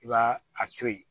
I b'a a to yen